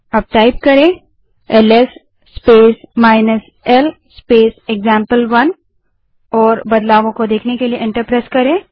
अब LS space l space example one type करें और बदलाव को देखने के लिए एंटर दबायें